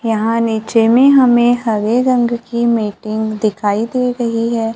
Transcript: यहां नीचे में हमें हरे रंग की मीटिंग दिखाई दे रही है।